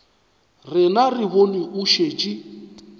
rena re bone o šetše